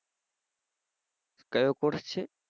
કયો course છે?